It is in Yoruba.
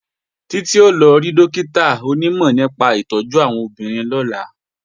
Títí ó lọ rí Dókítà aṣètọ́jú àwọn obìnrin lọ́la